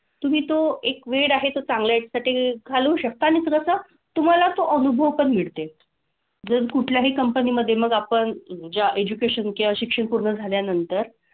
तुम्ही तो एक वेळ आहे तो चांगल्या यासाठी घालवू शकता आणि जसं तुम्हाला तो अनुभव पण मिळते. जर कुठल्याही company मधे मग आपण ज्या education किंवा शिक्षण पूर्ण झाल्यानंतर,